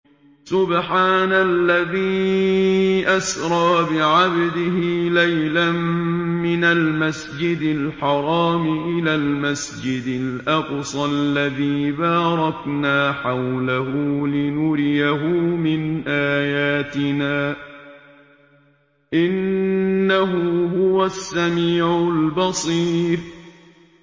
سُبْحَانَ الَّذِي أَسْرَىٰ بِعَبْدِهِ لَيْلًا مِّنَ الْمَسْجِدِ الْحَرَامِ إِلَى الْمَسْجِدِ الْأَقْصَى الَّذِي بَارَكْنَا حَوْلَهُ لِنُرِيَهُ مِنْ آيَاتِنَا ۚ إِنَّهُ هُوَ السَّمِيعُ الْبَصِيرُ